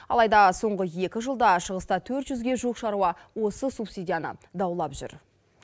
алайда соңғы екі жылда шығыста төрт жүзге жуық шаруа осы субсидияны даулап жүр